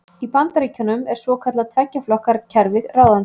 Í Bandaríkjunum er svokallað tveggja flokka kerfi ráðandi.